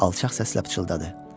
Alçaq səslə pıçıldadı.